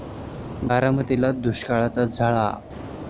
बारामतीला दुष्काळाच्या झळा!